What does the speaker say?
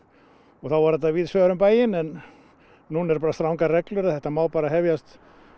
og þá var þetta víðsvegar um bæinn nú eru strangar reglur og þetta má bara hefjast